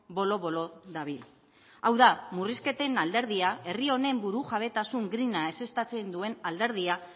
bolo bolo dabil hau da murrizketen alderdia herri honek burujabetasun grina ezeztatzen duen alderdia